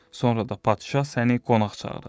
Sonra da padişah səni qonaq çağıracaq.